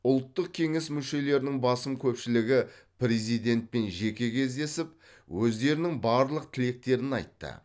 ұлттық кеңес мүшелерінің басым көпшілігі президентпен жеке кездесіп өздерінің барлық тілектерін айтты